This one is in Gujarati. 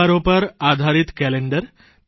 તહેવારો પર આધારિત કેલેન્ડર